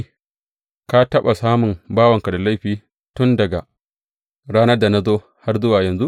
Ka taɓa samun bawanka da laifi tun daga ranar da na zo har zuwa yanzu?